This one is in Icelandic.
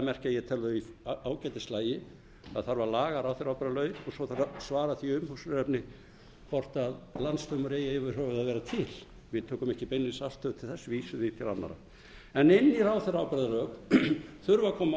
merkja tel ég það vera í ágætislagi það þarf að laga ráðherraábyrgðarlögin og svo þarf að svara því umhugsunarefni hvort landsdómur eigi yfir höfuð að vera til við tökum ekki beinlínis afstöðu til þess við vísum því til annarra en inn í ráðherraábyrgðarlög þurfa að koma